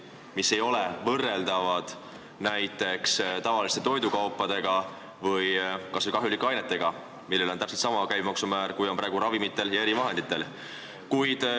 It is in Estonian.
Need tooted ei ole ju võrreldavad tavaliste toidukaupadega või ka kahjulike ainetega, mille puhul kehtib täpselt sama käibemaksu määr, kui on praegu ravimitel ja erivahenditel.